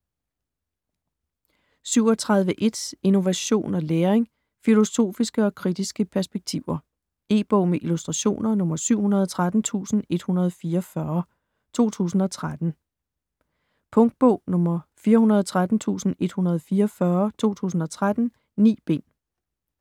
37.1 Innovation og læring: filosofiske og kritiske perspektiver E-bog med illustrationer 713144 2013. Punktbog 413144 2013. 9 bind.